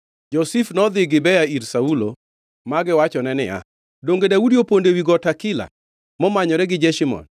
Jo-Zif nodhi Gibea ir Saulo ma giwachone niya, “Donge Daudi opondo ewi got Hakila momanyore gi Jeshimon?”